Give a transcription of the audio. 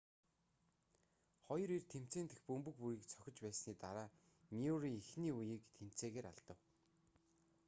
хоёр эр тэмцээн дэх бөмбөг бүрийг цохиж байсны дараа мюррей эхний үеийг тэнцээгээр алдав